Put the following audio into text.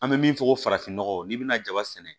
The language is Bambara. An bɛ min fɔ ko farafinnɔgɔ n'i bɛna jaba sɛnɛ